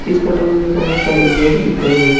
इस फोटो हमे बहोत सारे लोग दिख रहे है।